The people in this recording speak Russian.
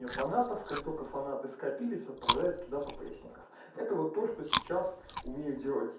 я фанатов как только фанаты скопились отправляет туда ппоэсников это вот то что сейчас умею делать й